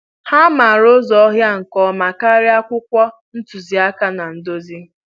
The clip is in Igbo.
Ha maara ụzọ ọhịa nke ọma karịa akwụkwọ ntụziaka na nduzi